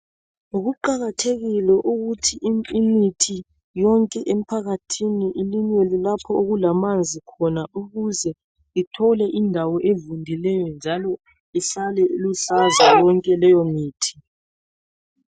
Kuqakathekile ukuthi imithi yonke emphakathini ilinyelwe lapho okulamanzi khona ukuze ithole indawo evundileyo njalo ihlale iluhlaza yonke leyo mithi.